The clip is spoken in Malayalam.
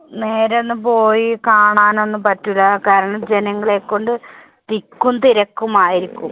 നേരെ ഒന്നും പോയി കാണാൻ ഒന്നും പറ്റില്ല, കാരണം ജനങ്ങളെക്കൊണ്ട് തിക്കും തിരക്കും ആയിരിക്കും.